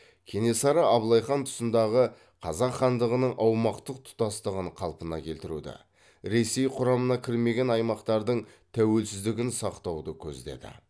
кенесары абылай хан тұсындағы қазақ хандығының аумақтық тұтастығын қалпына келтіруді ресей құрамына кірмеген аймақтардың тәуелсіздігін сақтауды көздеді